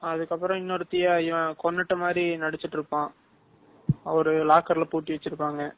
அதுக்கப்பறம் இன்னொருத்திய இவன் கொண்டுட்டமாதிரி நடிச்சுக்கிட்டு இருப்பான்.ஒரு locker ல பூட்டிவச்சிருப்பாங்க.